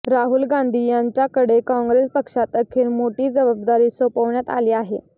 राहुल गांधी यांच्याकडे काँग्रेस पक्षात अखेर मोठी जबाबदारी सोपवण्यात आली आहे